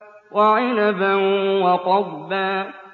وَعِنَبًا وَقَضْبًا